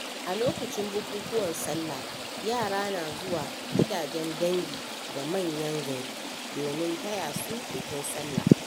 A lokacin bukukuwan sallah, yara na zuwa gidajen dangi, da manyan gari domin taya su bikin sallah.